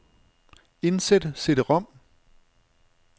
Indsæt cd-rom.